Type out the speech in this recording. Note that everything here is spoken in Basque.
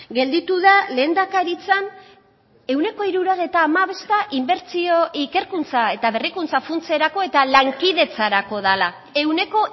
gelditu da lehendakaritzan ehuneko hirurogeita hamabosta inbertsio ikerkuntza eta berrikuntza funtserako eta lankidetzarako dela ehuneko